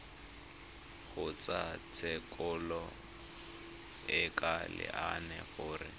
kgotlatshekelo e ka laela gore